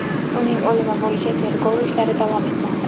Uning o‘limi bo‘yicha tergov ishlari davom etmoqda.